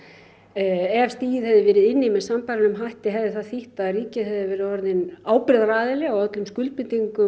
ef stigið hefði verið inn í með sambærilegum hætti hefði það þýtt að ríkið hefði verið orðið ábyrgðaraðili á öllum skuldbindingum